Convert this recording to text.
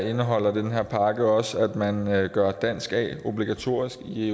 indeholder den her pakke også at man gør dansk a obligatorisk i